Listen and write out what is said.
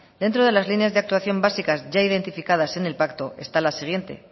dentro de las líneas de actuación básicas ya identificadas en el pacto está la siguiente